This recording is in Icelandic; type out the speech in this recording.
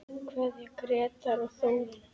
Kveðja, Grétar og Þórunn.